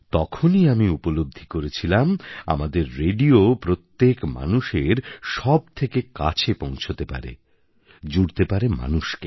তখনই আমি উপলব্ধি করেছিলাম আমাদের রেডিও প্রত্যেক মানুষের সব থেকে কাছে পৌঁছতে পারে জুড়তে পারে মানুষকে